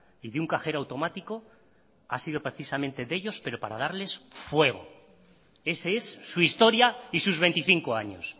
y de un cajero automático ha sido precisamente de ellos pero para darles fuego ese es su historia y sus veinticinco años